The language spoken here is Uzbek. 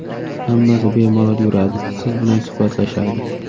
Hammasi bemalol yuradi, siz bilan suhbatlashadi.